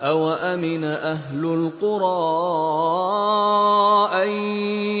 أَوَأَمِنَ أَهْلُ الْقُرَىٰ أَن